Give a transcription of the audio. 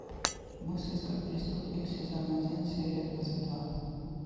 мыслить как преступник сезон один серия двадцать два